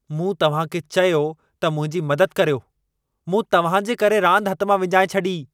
मूं तव्हां खे चयो त मुंहिंजी मदद करियो! मूं तव्हां जे करे रांदि हथ मां विञाए छॾी।